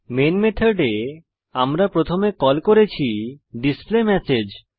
main মেথডে আমরা প্রথমে কল করেছি ডিসপ্লেমেসেজ